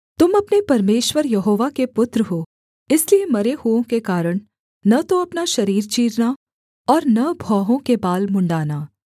तुम अपने परमेश्वर यहोवा के पुत्र हो इसलिए मरे हुओं के कारण न तो अपना शरीर चीरना और न भौहों के बाल मुँण्ड़ाना